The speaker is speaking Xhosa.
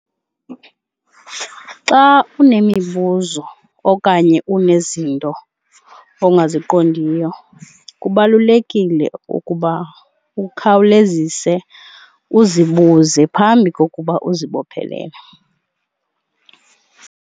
Xa unemibuzo okanye unezinto ongaziqondiyo kubalulekile ukuba ukhawulezise uzibuze phambi kokuba uzibophelele.